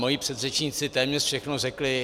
Mojí předřečníci téměř všechno řekli.